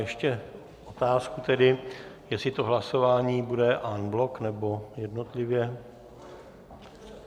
Ještě otázku tedy, jestli to hlasování bude en bloc, nebo jednotlivě.